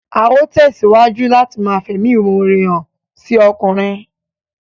Á ó tẹ̀síwájú láti ma fẹ̀mímọre hàn sí ọkùnrin